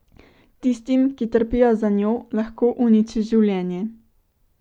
Tistim, ki trpijo za njo, lahko uniči življenje.